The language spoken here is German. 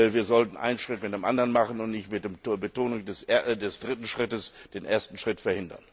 Wir sollten einen Schritt nach dem anderen machen und nicht mit der Betonung des dritten Schrittes den ersten Schritt verhindern.